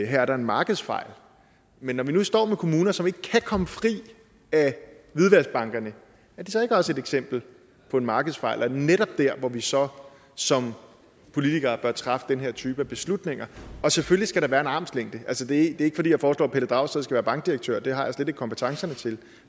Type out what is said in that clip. her er en markedsfejl men når vi nu står med kommuner som ikke kan komme fri af hvidvaskbankerne er det så ikke også et eksempel på en markedsfejl og netop et sted hvor vi så som politikere bør træffe den her type af beslutninger selvfølgelig skal der være en armslængde altså det er ikke fordi jeg foreslår at pelle dragsted skal være bankdirektør det har jeg slet ikke kompetencerne til